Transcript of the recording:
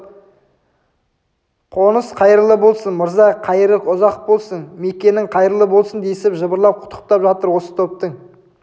қоныс қайырлы болсын мырза қайыры ұзақ болсын мекенің қайырлы болсын десіп жабырлап құттықтап жатыр осы топтың